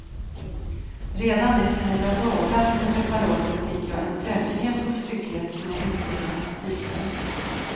Redan efter några dagar med preparatet fick jag en säkerhet och trygghet som jag inte känt tidigare.